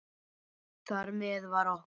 Þar með var okkur